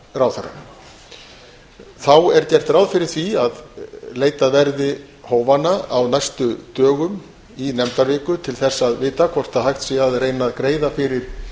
ráðherra þá er gert ráð fyrir því að leitað verði hófanna á næstu dögum í nefndaviku til að vita hvort hægt sé að reyna að greiða fyrir